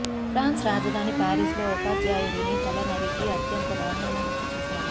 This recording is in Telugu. ఫ్రాన్స్ రాజధాని పారిస్ లో ఉపాధ్యాయుడిని తల నరికి అత్యంత దారుణంగా హత్య చేశారు